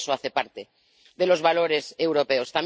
Todo eso forma parte de los valores europeos.